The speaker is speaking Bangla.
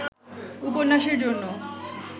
উপন্যাসের জন্য